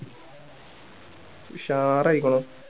ഉഷാറായിക്കണു